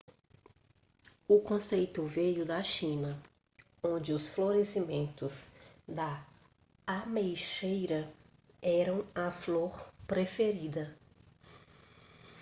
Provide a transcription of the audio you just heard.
o conceito veio da china onde os florescimentos da ameixeira eram a flor preferida